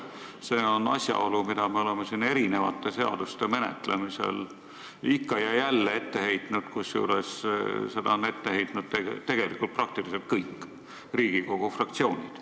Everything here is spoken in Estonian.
See on asjaolu, mida me oleme mitme seaduse menetlemisel ikka ja jälle ette heitnud, kusjuures seda on ette heitnud praktiliselt kõik Riigikogu fraktsioonid.